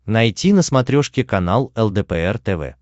найти на смотрешке канал лдпр тв